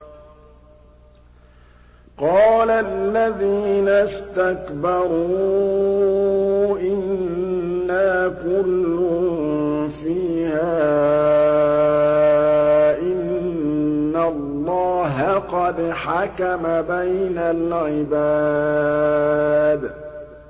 قَالَ الَّذِينَ اسْتَكْبَرُوا إِنَّا كُلٌّ فِيهَا إِنَّ اللَّهَ قَدْ حَكَمَ بَيْنَ الْعِبَادِ